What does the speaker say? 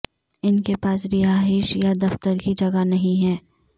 ان کے پاس رہائش یا دفتر کی جگہ نہیں ہے